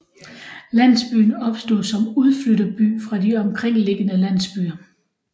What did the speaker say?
Landsbyen opstod som udflytterby fra de omkringliggende landsbyer